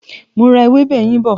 Mo ra ewébè yín bọ̀.